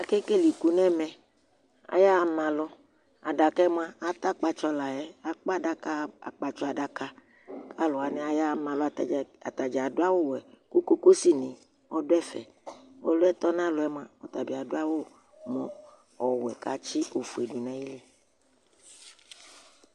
Akekele ikʋ ŋu ɛmɛ Ayaha malu Aɖakaɛ ata akpatsɔ layɛ Akpa aɖaka akpatsɔ aɖaka Ataŋi waŋi ayaha malu Atadza aɖu awu wɛ Ʋkʋkusi ni ɔɖu ɛfɛ Ɔliɛ toŋu alɔŋ mʋa ɔtabi aɖu awu wɛ kʋ atsi ɔfʋe ɖu ŋu ayìlí